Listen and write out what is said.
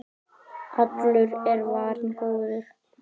Allur er varinn góður.